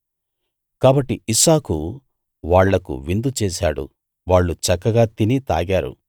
కాబట్టి ఇస్సాకు వాళ్ళకు విందు చేశాడు వాళ్ళు చక్కగా తిని తాగారు